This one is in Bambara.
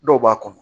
Dɔw b'a kɔnɔ